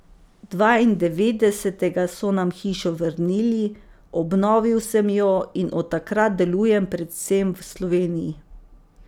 Dvaindevetdesetega so nam hišo vrnili, obnovil sem jo in od takrat delujem predvsem v Sloveniji.